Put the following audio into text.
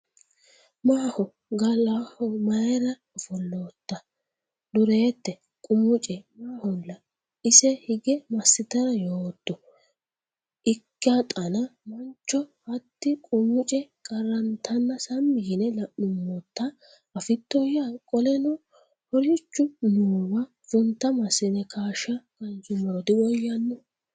Maaho golaho mayra ofollootta? Dureette: Qamuce maaholla? ise hige massitara yootto? Ikkixana mancho hatti-Qamuce qarrantanna sammi yine la’nummota afittoyya? Qoleno ho’richu noowa funta massine kaashsha kaansummoro diwoyyanno?